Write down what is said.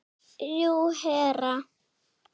Jú, herra.